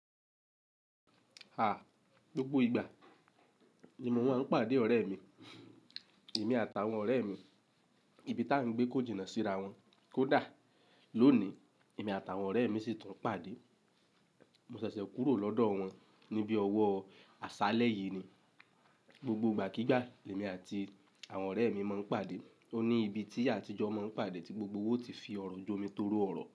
Àh, gbogbo ìgbà ni mo à ń pàdé ọ̀rẹ́ mi, èmi àtàwọn ọ̀rẹ́ mi ní ibi tí a ń gbé kó jìnà síra wọn. Kódà lónìí, èmi àtàwọn ọ̀rẹ́ mi sì tún pàdé. Mo ṣẹ̀ṣẹ̀ kúrò lọ́dọ̀ wọn níbi ọwọ́ àṣálẹ́ yìí ni. Gbogbo ìgbàkígbà, èmi àti àwọn ọ̀rẹ́ mi má ń pàdé. Ó ní ibi tí àtijọ́ máa ń pàdé tí gbogbo wa o ti fi ọ̀rọ̀ jomi toro ọ̀rọ̀